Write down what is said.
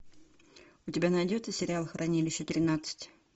у тебя найдется сериал хранилище тринадцать